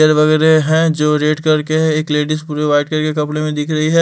वगैर है जो रेड करके एक लेडीज पूरे वाइट कर के कपड़े में दिख रही है।